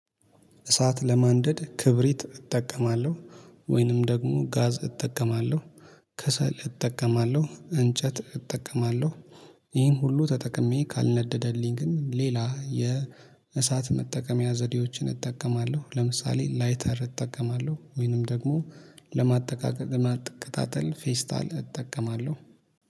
እሳት ለማንደድ ክብሪት እጠቀማለሁ ወይንም ደግሞ ጋዝ እጠቀማለሁ። ከሰል እጠቀማለሁ እንጨት እጠቀማለሁ። ይሄን ሁሉ ተጠቅሜ ካልነደደልኝ ግን ሌላ የእሳት መጠቀሚያ ዘዴዎችን እጠቀማለሁ ለምሳሌ ላይተር እጠቀማለሁ ወይንም ደግሞ ለማጠቃቀ ለማቀጣጠል ፌስታል እጠቀማለሁ